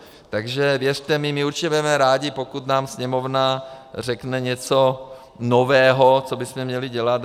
Takže věřte mi, my určitě budeme rádi, pokud nám Sněmovna řekne něco nového, co bychom měli dělat.